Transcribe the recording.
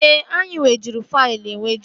Ee, anyị nwejuru faịlụ enweju